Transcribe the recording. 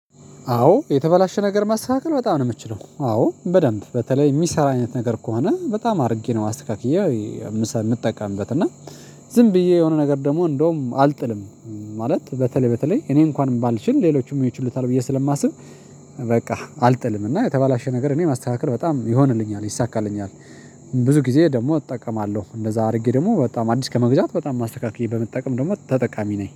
አዎ የተበላሸ ነገር ማስተካከል በጣም ነው የምትችለው አዎ በደንብ በተለይ የሚሰራ አይነት ነገር ከሆነ በጣም አድርጌ ነው አስተካክዬ። የምትጠቀምበት እና ዝም ብዬ የሆነ ነገር ደግሞ እንደውም አልጥልም። ማለት በተለይ በተለይ እኔ እንኳን ባልችል ሌሎችም ይችሉታል ብዬ ስለማስብ። በቃ እና የተባላሽ ነገር እኔ ማስተካከል በጣም ይሆንልኛል ይሳካልኛል። ብዙ ጊዜ ደግሞ እጠቀማለሁ እንደዛ አድርጌ ደግሞ በጣም አዲስ ከመግዛት በጣም ማስተካከያ በመጠቀም ደግሞ ተጠቃሚ ነኝ